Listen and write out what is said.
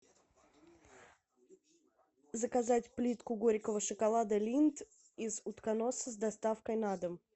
заказать плитку горького шоколада линдт из утконоса с доставкой на дом